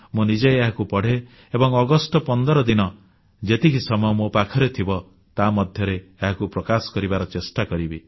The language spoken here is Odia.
ମୁଁ ନିଜେ ଏହାକୁ ପଢ଼େ ଏବଂ ଅଗଷ୍ଟ 15 ଦିନ ଯେତିକି ସମୟ ମୋ ପାଖରେ ଥିବ ତା ମଧ୍ୟରେ ଏହାକୁ ପ୍ରକାଶ କରିବାର ଚେଷ୍ଟା କରିବି